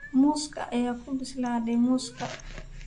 Muuska ayaa ku bislaaday muuska